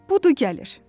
Budur gəlir.